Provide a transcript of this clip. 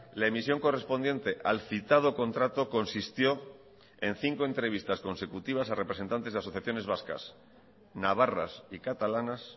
la emisión correspondiente al citado contrato consistió en cinco entrevistas consecutivas a representantes y asociaciones vascas navarras y catalanas